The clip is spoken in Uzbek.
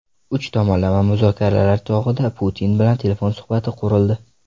Uch tomonlama muzokaralar chog‘ida Putin bilan telefon suhbati qurildi.